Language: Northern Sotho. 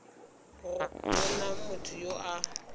go na motho yo a